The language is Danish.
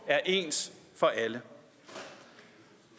er ens for alle